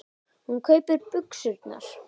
Hún kaupir buxurnar.